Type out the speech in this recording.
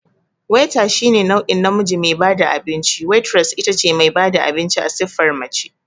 Waiter shine nau'in namiji me bada abinci, Waitress itace mai bada abinci a siffar mace